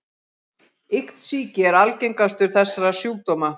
Iktsýki er algengastur þessara sjúkdóma.